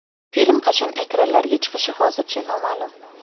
Film qachon ekranlarga chiqishi hozircha noma’lum.